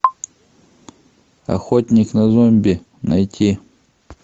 охотник на зомби найти